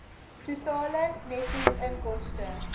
totale netto inkomste